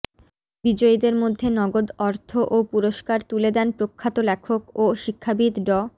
বিজয়ীদের মধ্যে নগদ অর্থ ও পুরস্কার তুলে দেন প্রখ্যাত লেখক ও শিক্ষাবিদ ড